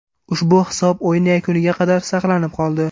Ushbu hisob o‘yin yakuniga qadar saqlanib qoldi.